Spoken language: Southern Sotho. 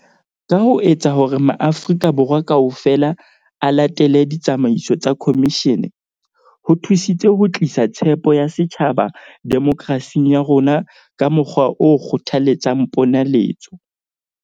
Ka ho etsa hore maAfri-ka Borwa kaofela a latele ditsamaiso tsa khomishene, ho thusitse ho tlisa tshepo ya setjhaba demokerasing ya rona ka mokgwa o kgothaletsang ponaletso.